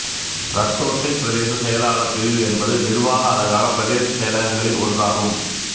ரத்தோட்டை பிரதேச செயலாளர் பிரிவு என்பது நிர்வாக அலகான பிரதேச செயலகங்களில் ஒன்று ஆகும்